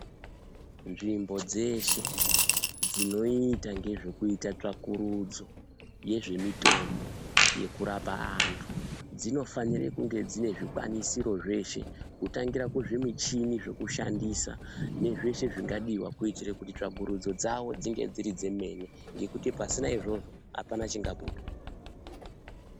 Nzvimbo dzeshe dzinoita ngezvekuita tsvakurudzo yezvemitombo yekurapa antu. Dzinofanire kunge dzine zvikwanisiro zveshe kutangira kuzvimuchini zvekushandisa nezveshe zvingadiva. Kuitira kuti tsvakurudzo dzavo dzinge dziri chemene. Ngekuti pasina izvozvo hapana chingabuda.